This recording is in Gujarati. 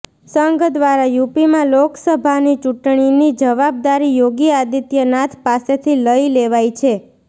સંઘ દ્વારા યુપીમાં લોકસભાની ચૂંટણીની જવાબદારી યોગી આદિત્યનાથ પાસેથી લઈ લેવાઈ છે